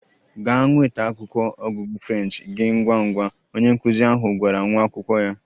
Gaa nweta akwụkwọ ọgụgụ French gị ngwa ngwa! Onye nkụzi ahụ gwara nwa akwụkwọ ya.